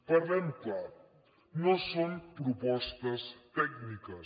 parlem clar no són propostes tècniques